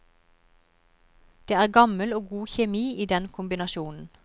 Det er gammel og god kjemi i den kombinasjonen.